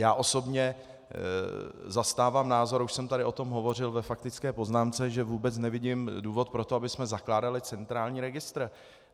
Já osobně zastávám názor, a už jsem tady o tom hovořil ve faktické poznámce, že vůbec nevidím důvod pro to, abychom zakládali centrální registr.